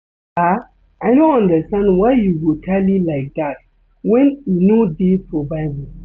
Sir, I no understand why you go tally like dat wen e no dey for bible